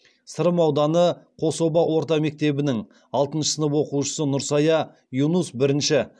сырым ауданы қособа орта мектебінің алтыншы сынып оқушысы нұрсая юнус бірінш